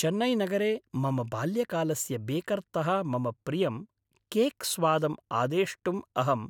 चेन्नैनगरे मम बाल्यकालस्य बेकर्तः मम प्रियं केक् स्वादम् आदेष्टुम् अहम्